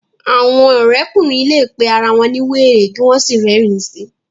awọn òrékùnrin lẹ pé àrà wón ní wéré kí wón sí rerin sí